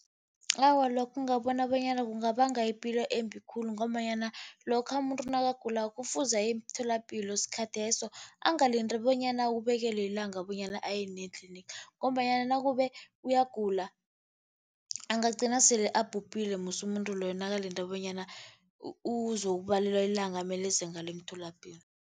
Awa, lokhu ngabona bonyana kungabanga ipilo embi khulu ngombanyana, lokha umuntu nakagulako, kufuze aye emtholapilo sikhatheso. Angalindi bonyana abekelwe ilanga bonyana aye nini etlinigi. Ngombanyana nakube uyagula, angagcina sele abhubhile musi umuntu loyo nakalinde bonyana uzokubalelwa ilanga amele enze ngalo emtholapilo.